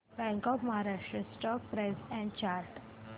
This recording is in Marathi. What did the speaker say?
bank of Maharashtra stock price and chart